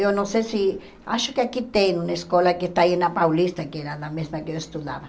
Eu não sei se... Acho que aqui tem uma escola que está aí na Paulista, que era na mesma que eu estudava.